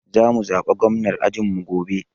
Za mu zaɓa gwamnar ajin mu gobe.